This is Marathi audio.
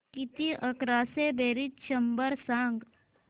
किती अकराशे बेरीज शंभर सांग